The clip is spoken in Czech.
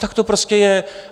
Tak to prostě je.